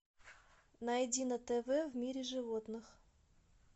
найди на тв в мире животных